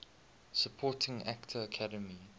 supporting actor academy